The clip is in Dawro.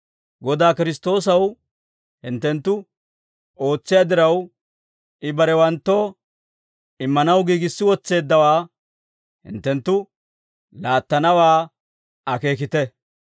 Godaa Kiristtoosaw hinttenttu ootsiyaa diraw, I barewanttoo immanaw giigissi wotseeddawaa hinttenttu laattanawaa akeekite.